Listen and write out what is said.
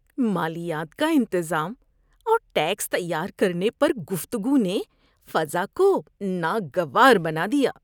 مالیات کا انتظام اور ٹیکس تیار کرنے پر گفتگو نے فضا کو ناگوار بنا دیا۔